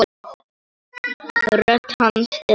Rödd hans er líka rám.